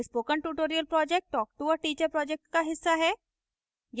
spoken tutorial project talktoateacher project का हिस्सा है